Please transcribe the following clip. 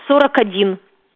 сорок один